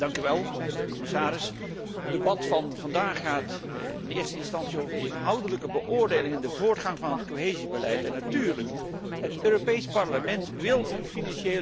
Voorzitter, commissaris, het debat van vandaag gaat in eerste instantie over de inhoudelijke beoordeling en de voortgang van het cohesiebeleid. Natuurlijk, het Europees Parlement wil een financiële